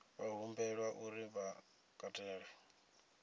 vha humbelwa uri vha katele